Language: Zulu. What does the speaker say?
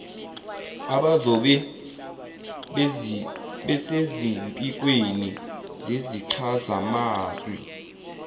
abazobe besezimpikweni zezichazamazwi